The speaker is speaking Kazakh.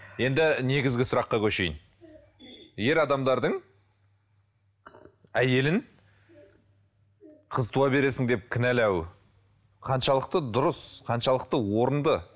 енді негізгі сұраққа көшейін ер адамдардың әйелін қыз туа бересің деп кінәлауы қаншалықты дұрыс қаншалықты орынды